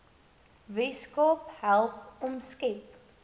weskaap help omskep